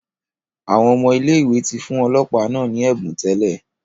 Awọn ọmọ ile-iwe ti fun ọlọpa naa ni ẹbun tẹlẹ